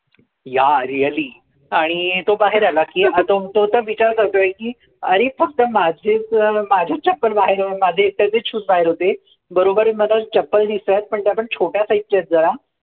Yeah, really, आणि तो बाहेर आला. की तो तर आता विचार करतोय की अरे फक्त माझेच, माझेच चप्पल बाहेर, माझे एकट्याचेच shoes बाहेर होते. बरोबर मधात चप्पल दिसतायेत पण त्या पण छोट्या size चे आहेत जरा.